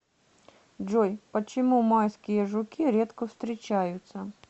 джой почему майские жуки редко встречаются